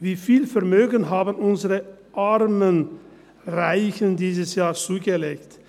Wie viel Vermögen haben unsere armen Reichen dieses Jahr zugelegt?